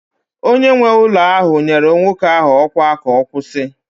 onye nwe ụlọ nyere nwoke ahụ ọkwa ka ọ kwụsị